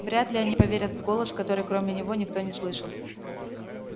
вряд ли они поверят в голос который кроме него никто не слышал